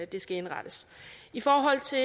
det skal indrettes i forhold til